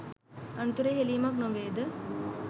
අනතුරේ හෙලීමක් නොවේ ද?